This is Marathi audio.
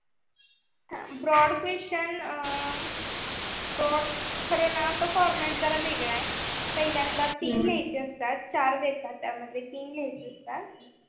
brod question अं brod खरंन format जरा वेगळा आहे पहिल्यांदा तीन लिहायचे असतात. चार देतात त्यामध्ये तीन लिहायचे असतात.